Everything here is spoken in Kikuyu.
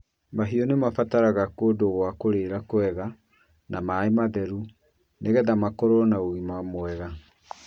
Mahiũ nĩ mabataraga kũndũ gwa kũrĩĩra kwega na maĩ matheru nĩ getha makorwo na ũgima mwega.